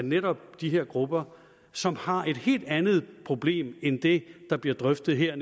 netop de her grupper som har et helt andet problem end det der bliver drøftet her